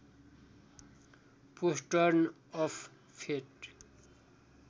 postern of fate